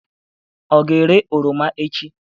Ọ ga-ere oroma echi?